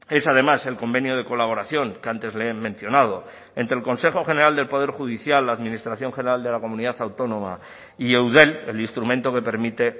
es además el convenio de colaboración que antes le he mencionado entre el consejo general del poder judicial la administración general de la comunidad autónoma y eudel el instrumento que permite